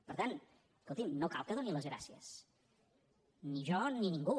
per tant escolti’m no cal que doni les gràcies ni jo ni ningú